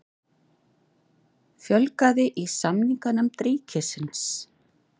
Fjölgað í samninganefnd ríkisins